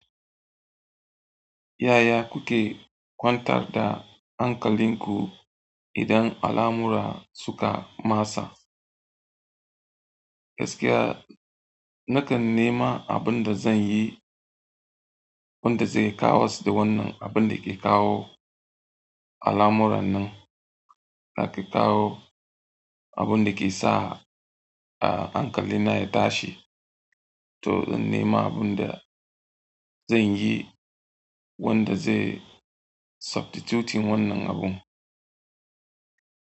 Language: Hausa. Yaya kuke kwantar da hankalinku idan alamura suka masa? Gaskiya nakan nema abun da zanyi wanda zai kawas da wannan abun dake kawo alamuran nan, da ke kawo abin da ke sa ah, hankalina ya tashi. To, in nema abin da zan yi wanda zai subtituting wannan abun.